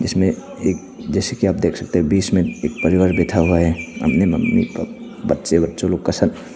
इसमें एक जैसे कि आप देख सकते हैं बीच में एक परिवार बैठा हुआ है अपनी मम्मी पा बच्चे वच्चों लोग का साथ।